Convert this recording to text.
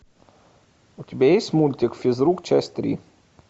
у тебя есть мультик физрук часть три